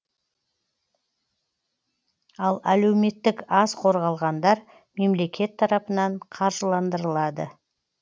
ал әлеуметтік аз қорғалғандар мемлекет тарапынан қаржыландырылады